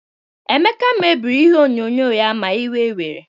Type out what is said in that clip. Emeka mebiri ihe onyonyo ya ma iwe were